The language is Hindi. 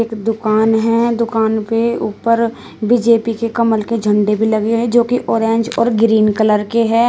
दुकान है दुकान के ऊपर बी_जे_पी के कमल के झंडे भी लगे हैं जो की ऑरेंज और ग्रीन कलर के है।